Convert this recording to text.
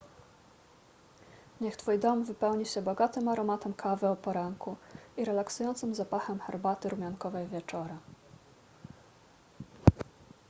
niech twój dom wypełni się bogatym aromatem kawy o poranku i relaksującym zapachem herbaty rumiankowej wieczorem